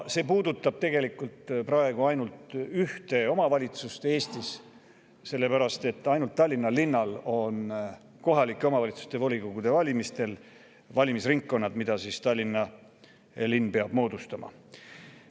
See puudutab tegelikult praegu ainult ühte omavalitsust Eestis, sest ainult Tallinnal on kohalike omavalitsuste volikogude valimistel valimisringkonnad, Tallinn peab need moodustama.